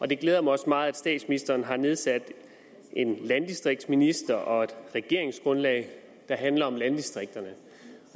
det glæder mig også meget at statsministeren har nedsat en landdistriktsminister og et regeringsgrundlag der handler om landdistrikterne